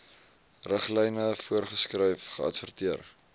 riglyne voorgeskryf geadverteer